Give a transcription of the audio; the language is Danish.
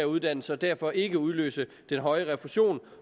uddannelse og derfor ikke udløse den høje refusion